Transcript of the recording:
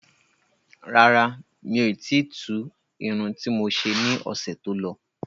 Rárá, miò ti tu Irun ti mo ṣe ní ọ̀sẹ̀ tó lọ